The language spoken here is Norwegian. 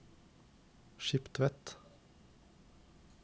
Skiptvet